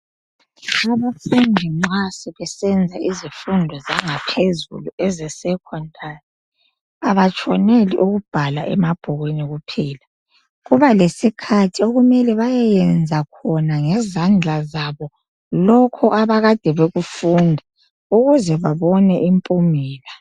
Abafundi nxa sebesenza izifundo zangaphezulu ezesecondary abatshoneli ukubhala emabhukwini kuphela kuba lesikhathi okumele bayeyenza khona ngezandla zabo lokhu abakade bekufunda ukuze babone impumelo.